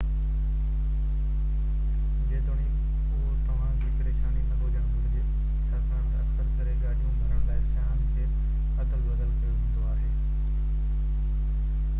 جيتوڻيڪ اهو توهان جي پريشاني نه هجڻ گهرجي ڇاڪاڻ ته اڪثر ڪري گاڏيون ڀرڻ لاءِ سياحن کي ادل بدل ڪيو ويندو آهي